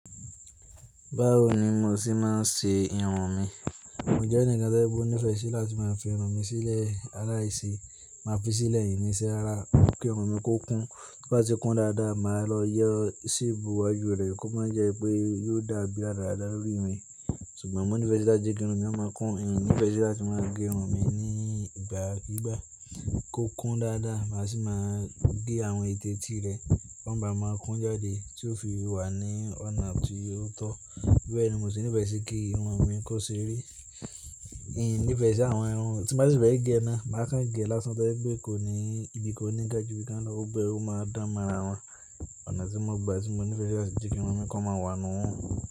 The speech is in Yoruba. Báwo ni mo ṣì máa ṣe irun mi? Mo jẹ́ ẹnìkan t'óje pe oní ìfẹ́ sí láti máa fi irun mi sílẹ̀ aláìse Máa fi sílẹ̀ n ni se rara kí irun mi kó kún. B'obá ti kún dáadáa, màá lọ yọ sepu iwaju rẹ̀ kó máa jẹ́ pé yóò dàbí radaradá lórí mi. Ṣùgbọ́n mò ní fèsi láti je ki irun mi máa kún ìní fèrèsé láti máa gé irun mi ní ìgbà gbígbà kó kún dáadáa. Màá sì máa gé àwọn ètè etí rẹ̀, kọ́n bá máa kún jáde tí ó fi wà ní ọ̀nà ti ò tọ́. Bẹ́ẹ̀ ni mo sì nífẹ̀ẹ́ sí kí irun mi kó ṣeré. N nifèsi àwọn irun tí n bá si fe gé ná, màá kán gé lásán tó jẹpẹ́ kò ní ìbìkan o ní ga ju bí kán lọ. Gbogbo e ó máa dán mọ́ ara wọn. Ọ̀nà tí mò ń gba, tí mò nífẹ̀ẹ́ sí láti je kí irun mi kó máa wà nù ún.